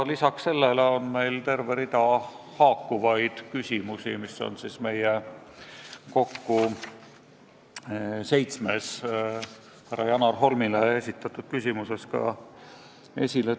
Lisaks on meil terve rida haakuvaid küsimusi, mis on seitsmes härra Janar Holmile esitatud küsimuses ka kirjas.